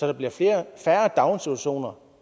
der bliver færre daginstitutioner